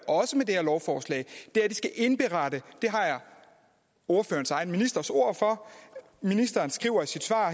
også med det her lovforslag er at de skal indberette det har jeg ordførerens egen ministers ord for ministeren skriver i sit svar